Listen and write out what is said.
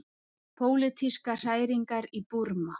Pólitískar hræringar í Búrma